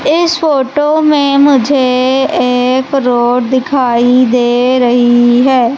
इस फोटो में मुझे एक रोड दिखाई दे रही है।